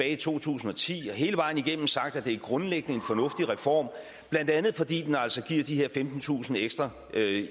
i to tusind og ti og har hele vejen igennem sagt at det grundlæggende var en fornuftig reform blandt andet fordi den altså gav de her femtentusind ekstra